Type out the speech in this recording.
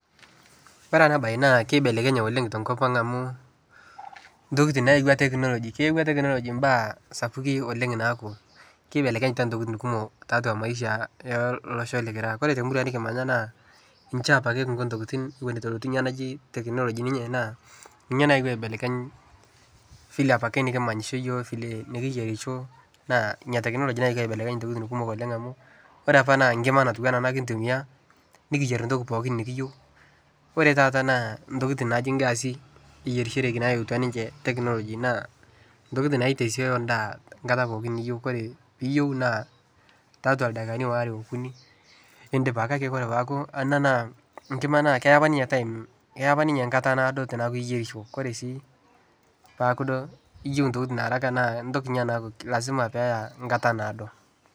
Ore ena bae naa keibelekenye oooleng tenkop ang amu tokitin nayaua technology eyaua technology baa sapuku ooleng niaku ebelekenyata tokitin kumok taatua maisha olosho likira, ore te murua nikimanya naa chaa apake kingo tokitin eitu elotu ninye technology naa ina ninye naewuo aibelekeny vile apakae nikimanyisho yiook nikiyierisho naa ina technology nayeuo aibelekeny toki kumok oleng amu ore apa naa nkima natiu anaa ena kitumia nikiyier toki pooki nikiiyieu. Ore taata naa tokitin naaji gasi eyierishoteki nayauatua technology naa tokitin naitasioyo edaa kata pooki niyieu ore, niyieu naa tiatua ildaikani waare okuni nidip ake, ore peeku nena na kima keya apa ninye time keya apa ninye kata naado teneyaku yierisho neaku duo eniyieu tokitin ye haraka naa etoki ena naa lasima pee eya ekata naado.